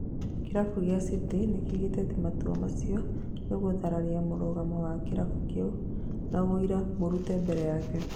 Kĩrabu gĩa City nĩkiugĩte atĩ matua macio nĩgũthararia mũrũgamo wa kĩrabu kĩu na woira mũrute mbere yake